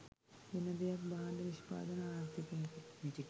වෙන දෙයක් භාණ්ඩ නිෂ්පාදන ආර්ථිකයකට